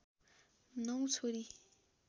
नौ छोरी